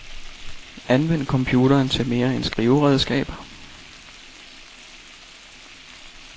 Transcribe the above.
Anvend computeren til mere end skriveredskab.